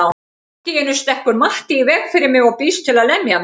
Allt í einu stekkur Matti í veg fyrir mig og býðst til að lemja mig.